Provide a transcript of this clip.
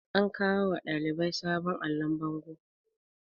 an kawo wa ɗalibai sabon allon bango